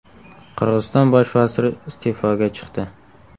Qirg‘iziston bosh vaziri iste’foga chiqdi.